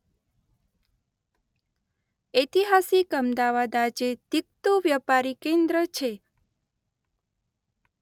ઐતિહાસિક અમદાવાદ આજે ધીકતું વ્યાપારી કેન્દ્ર છે.